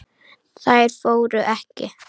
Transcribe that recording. Þær fóru ekki.